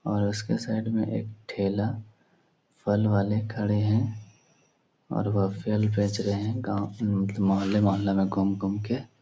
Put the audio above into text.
और उसके साइड मे एक ठेला फल वाले खडे हैं और वो फल बेच रहे हैं गाव मे मतलब मुहल्ले-मुहल्ले में घूम-घूम के।